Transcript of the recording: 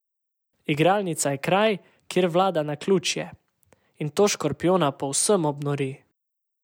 Igralnica je kraj, kjer vlada naključje, in to škorpijona povsem obnori.